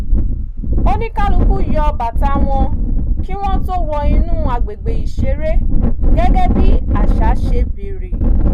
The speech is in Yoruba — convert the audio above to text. oníkálukú yọ bàtà wọn kí wọ́n tó wọ inú agbègbè ìṣeré gẹ́gẹ́ bí àṣà ṣe bèrè